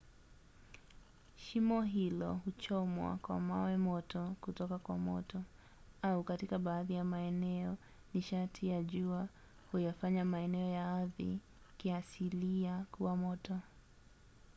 shimo hilo huchomwa kwa mawe moto kutoka kwa moto au katika baadhi ya maeneo nishati ya jua huyafanya maeneo ya ardhi kiasilia kuwa moto